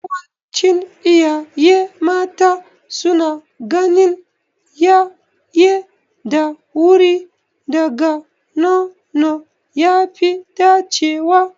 Yawancin iyaye mata suna ganin yaye da wuri daga nono ya fi dacewa.